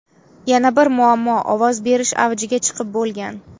Yana bir muammo ovoz berish avjiga chiqib bo‘lgan.